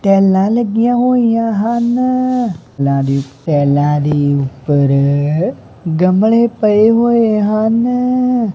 ਟਾਈਲਾਂ ਲੱਗੀਆਂ ਹੋਈਆਂ ਹਨ ਨਾਲੇ ਟਾਈਲਾਂ ਦੇ ਊਪਰ ਗਮਲੇ ਪਏ ਹੋਏ ਹਨ।